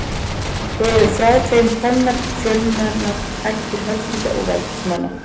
Eru frá þeim komnar fjölmennar ættir höfðingja og valdsmanna.